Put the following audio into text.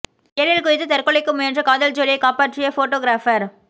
ஏரியில் குதித்து தற்கொலைக்கு முயன்ற காதல் ஜோடியை காப்பாற்றிய போட்டா கிராபர்